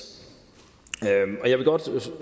jeg vil godt